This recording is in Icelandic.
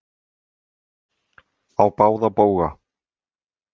Á báða bóga.